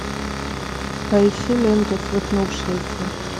поищи ленту свихнувшиеся